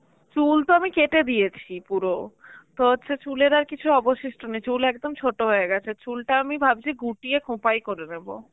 চুল তো আমি কেটে দিয়েছি পুরো. তো হচ্ছে চুলের আর কিছু অবশিষ্ট নেই, চুল একদম ছোট হয়ে গেছে, চুলটা আমি ভাবছি গুটিয়ে খোঁপাই করে নেব.